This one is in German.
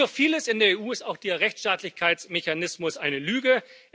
Wie so vieles in der EU ist auch der Rechtsstaatlichkeitsmechanismus eine Lüge.